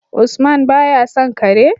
Usman baya son Kare